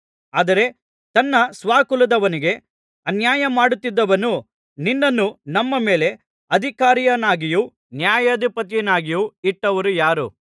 ಆದರೆ ತನ್ನ ಸ್ವಕುಲದವನಿಗೆ ಅನ್ಯಾಯಮಾಡುತ್ತಿದ್ದವನು ನಿನ್ನನ್ನು ನಮ್ಮ ಮೇಲೆ ಅಧಿಕಾರಿಯನ್ನಾಗಿಯೂ ನ್ಯಾಯಾಧಿಪತಿಯನ್ನಾಗಿಯೂ ಇಟ್ಟವರು ಯಾರು